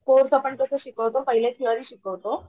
आपण कस शिकवतो पहिले थेरी शिकवतो.